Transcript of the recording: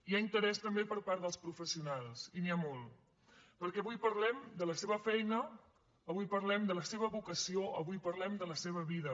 hi ha interès també per part dels professionals i n’hi ha molt perquè avui parlem de la seva feina avui parlem de la seva vocació avui parlem de la seva vida